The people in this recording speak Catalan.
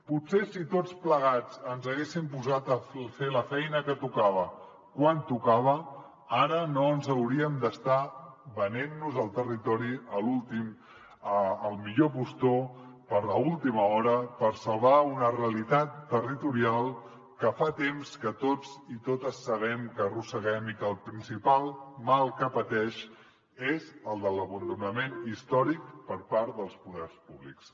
potser si tots plegats ens haguéssim posat a fer la feina que tocava quan tocava ara no ens hauríem d’estar venent nos el territori al millor postor a última hora per salvar una realitat territorial que fa temps que tots i totes sabem que arrosseguem i que el principal mal que pateix és el de l’abandonament històric per part dels poders públics